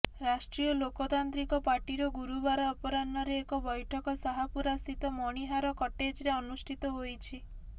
ରାଷ୍ଟ୍ରୀୟ ଲୋକତାନ୍ତ୍ରିକ ପାର୍ଟିର ଗୁରୁବାର ଅପରାହ୍ନରେ ଏକ ବୈଠକ ଶାହପୁରାସ୍ଥିତ ମଣିହାର କଟେଜରେ ଅନୁଷ୍ଠିତ ହୋଇଛି